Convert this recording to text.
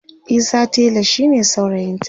Isa tela shine saurayinta